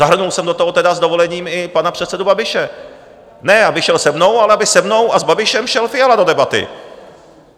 Zahrnul jsem do toho tedy s dovolením i pana předsedu Babiše, ne aby šel se mnou, ale aby se mnou a s Babišem šel Fiala do debaty.